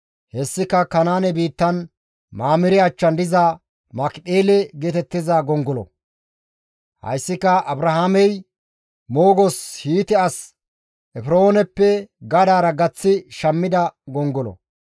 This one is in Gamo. Hessika Kanaane biittan, Mamire achchan diza Makipheele geetettiza gongolo; hayssika Abrahaamey moogos Hiite as Efrooneppe gadaara gaththi shammida gongolo.